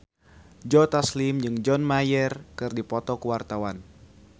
Joe Taslim jeung John Mayer keur dipoto ku wartawan